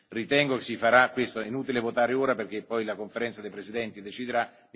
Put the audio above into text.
Ritengo che sia inutile votare ora perché poi la Conferenza dei presidenti deciderà.